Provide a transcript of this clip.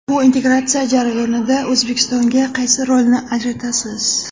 Bu integratsiya jarayonida O‘zbekistonga qaysi rolni ajratasiz?